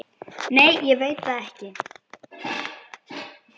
Nei ég veit það ekki.